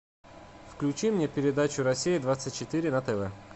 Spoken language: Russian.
включи мне передачу россия двадцать четыре на тв